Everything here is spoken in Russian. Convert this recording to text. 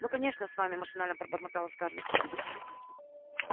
ну конечно с вами машинально пробормотала скарлетт